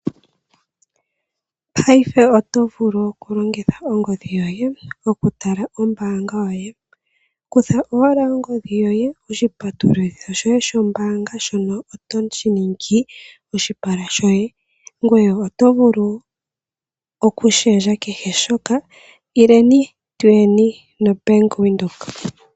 Paife oto vulu okulongitha ongodhi yoye okutala ombanga yoye, kutha owala ongodhi yoye, oshipatululitho shoye shombanga shono otoshi ningi oshipala shoye ngweye oto vulu okushendja kehe shoka ileni tuyeni nobank windhoek.